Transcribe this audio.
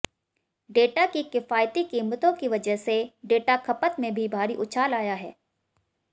data की किफायती कीमतों की वजह से डेटा खपत में भी भारी उछाल आया है